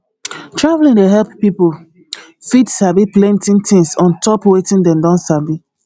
traveling dey help pipo fit sabi plenty tins ontop wetin dem don sabi